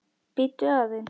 Bíddu aðeins